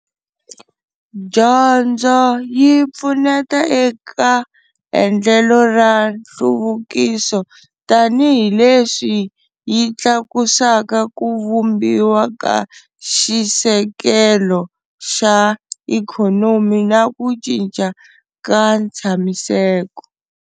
Dyondzo yi pfuneta eka endlelo ra nhluvukiso tanihileswi yi tlakusaka ku vumbiwa ka xisekelo xa ikhonomi na ku cinca ka ntshamiseko.